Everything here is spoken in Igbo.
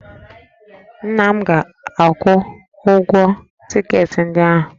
Nna m ga-akwụ ụgwọ tiketi ndị ahụ